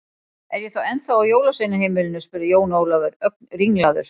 Er ég þá ennþá á jólasveinaheimilinu spurði Jón Ólafur, ögn ringlaður.